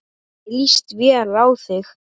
Henni líst vel á þig.